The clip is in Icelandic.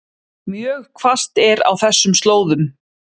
Mjög hvasst er á þessum slóðum